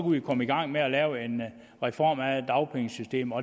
vi komme i gang med at lave en reform af dagpengesystemet